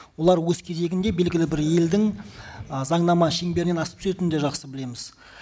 олар өз кезегінде белгілі бір елдің ы заңнама шеңберінен асып түсетінін де жақсы білеміз